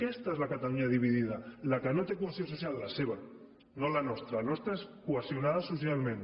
aquesta és la catalunya dividida la que no té cohesió social la seva no la nostra la nostra és cohesionada socialment